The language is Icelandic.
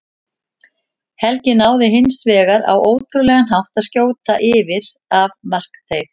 Helgi náði hins vegar á ótrúlegan hátt að skjóta yfir af markteig.